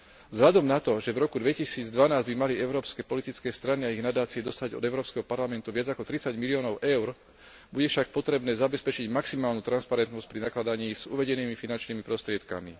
Vzhľadom na to, že v roku 2012 by mali európske politické strany a ich nadácie dostať od Európskeho parlamentu viac ako 30 miliónov EUR, bude však potrebné zabezpečiť maximálnu transparentnosť pri nakladaní s uvedenými finančnými prostriedkami.